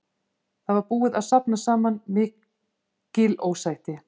Það var búið að safnast saman mikil ósætti.